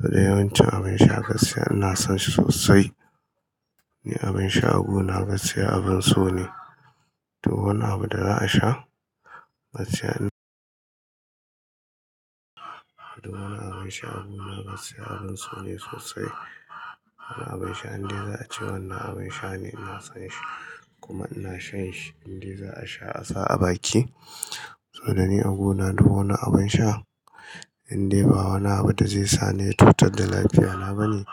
Da yawancin abin sha gaskiya ina son shi sosai. Ni abin sha aguna na gaskiya abun so ne. Duk wani abu da za a sha gaskiya, duk wani abu sha aguna gaskiya abin so ne sosai. Wani abin sha inda za a ci wannan abin sha ne ina son shi. Kuma ina shan shi indai za a sha a sa a baki. Saboda ni a guna duk wani abin sha indai ba wani abu da zai sa ni cutar da lafiya na bane.